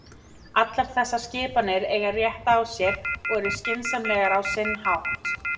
Allar þessar skiptingar eiga rétt á sér og eru skynsamlegar á sinn hátt.